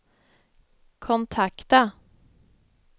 kontakta